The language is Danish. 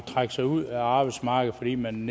trække sig ud af arbejdsmarkedet fordi man